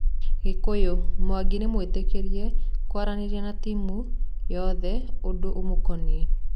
(Gikuyu) Mwangi nĩmũĩtĩkĩrie kũaranĩria na timũ yoyothe ũndũ ũmũkoniĩ.